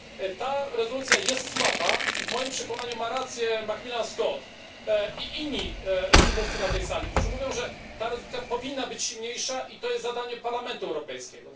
Ta rezolucja jest słaba i w moim przekonaniu ma rację poseł McMillan Scott i inni mówcy na tej sali, którzy mówią, że ta rezolucja powinna być silniejsza i to jest zadanie Parlamentu Europejskiego.